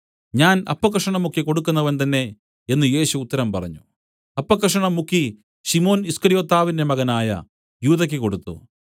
ഞാൻ അപ്പക്കഷണം മുക്കി കൊടുക്കുന്നവൻതന്നെ എന്നു യേശു ഉത്തരം പറഞ്ഞു അപ്പക്കഷണം മുക്കി ശിമോൻ ഈസ്കര്യോത്താവിന്റെ മകനായ യൂദയ്ക്ക് കൊടുത്തു